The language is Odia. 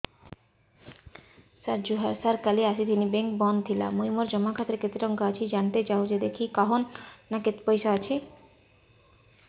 ସାର ଜୁହାର ସାର କାଲ ଆସିଥିନି ବେଙ୍କ ବନ୍ଦ ଥିଲା ମୁଇଁ ମୋର ଜମା ଖାତାରେ କେତେ ଟଙ୍କା ଅଛି ଜାଣତେ ଚାହୁଁଛେ ଦେଖିକି କହୁନ ନା କେତ ପଇସା ଅଛି